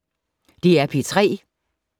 DR P3